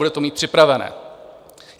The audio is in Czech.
Bude to mít připravené.